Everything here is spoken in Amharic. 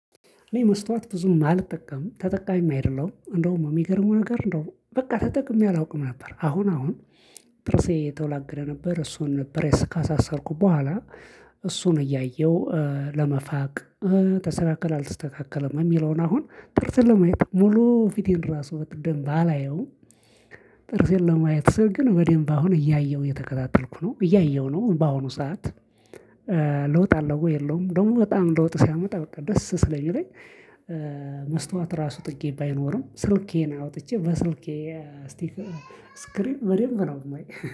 እኔ መስታወት ብዙም አልጠቃምም ተጠቃሚም አይደለሁም እንዳውም የሚገርመው ነገር እንዳው በቃ ተጠቅሜ አላውቅም ነበር አሁን አሁን ጥርሴ የተወላገደ ነበር እሱን ነበር ካሳሰርኩ በኋላ እሱን እያየሁ ለመፋቅ ተሰተካከለ አልተስተካከለም የሚለውን አሁን ጥርስን ለማየት ሙሉ ፊቴን ራሱ በደንብ አላየውም ጥርሴን ለማየት ስል ግን በደንብ አሁን እያየሁ እየተከታተልኩ ነው እያየሁ ነው በአሁኑ ሰዓት። ለውጥ አለው ወይ የለውም? ደግሞ በጣም ለውጥ ሲያመጣ በቃ ደስ ስላኝ። እኔ መስታወት ራሱ ጥጌ ባይኖርም ስልኬን አውጥቼ በስልኬ ስቲክ ስክሪን በደንብ ነው የማየው